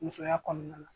Musoya kɔnɔna na